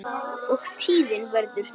og tíðin verður ný.